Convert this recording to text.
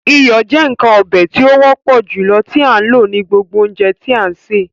Iyọ jẹ̀ nkan ọ̀bẹ̀ tí o wọpọ̀ julọ tó a lọ ní gbogbo ọ̀unjẹ̀ tí a n ṣẹ.